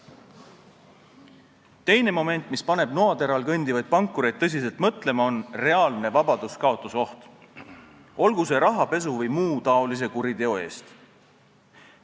Teine moment, mis paneb noateral kõndivaid pankureid tõsiselt mõtlema, on reaalne vabaduskaotuse oht, olgu siis rahapesu või muu taolise kuriteo eest.